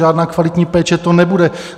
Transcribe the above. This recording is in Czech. Žádná kvalitní péče to nebude.